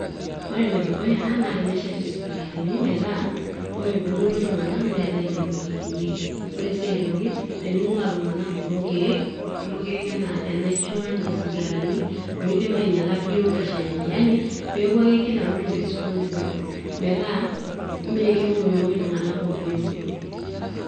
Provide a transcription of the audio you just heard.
ore enedukuya naa tenesheti isipitalini metaa ore peemuoi iltung'nak neetae enekwetikinyieki ore sii aitoki tening'ua iltung'anak kulo keek, kulo keek enaa enaisho enaa isigarani loidim ainyiala biotisho enye yani peeku ake kila mtu responsible metaa mee kemoimoi iltung'anak ovyoovyo.